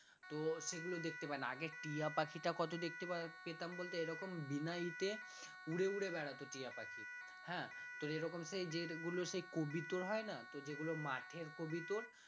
তো সেগুলো দেখতে পাবি না আগে টিয়াপাখিটা কত দেখতে পাওয়া পেতাম বল তো এরকম উড়ে উড়ে বেড়াতো টিয়া পাখি হ্যাঁ তো এরকম সেই তোর হয় না তো যেগুলো মাঠের তোর